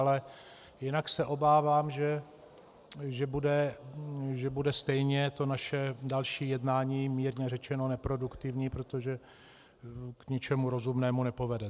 Ale jinak se obávám, že bude stejně to naše další jednání mírně řečeno neproduktivní, protože k ničemu rozumnému nepovede.